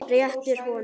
Réttir honum.